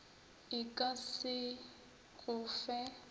e ka se go fe